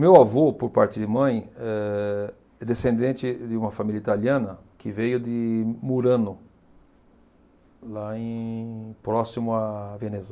Meu avô, por parte de mãe, é descendente de uma família italiana que veio de Murano, lá em próximo à Veneza.